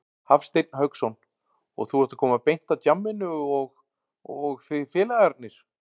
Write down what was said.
Hafsteinn Hauksson: Og þú ert að koma beint af djamminu og, og þið félagarnir?